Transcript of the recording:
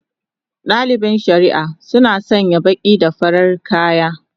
Dalibin shari'a sun sanya baki da farin kaya